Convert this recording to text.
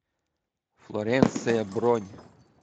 флоренция бронь